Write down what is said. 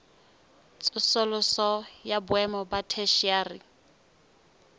tsosoloso ya boemo ba theshiari